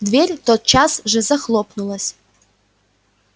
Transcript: дверь тотчас же захлопнулась